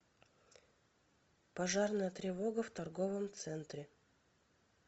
пожарная тревога в торговом центре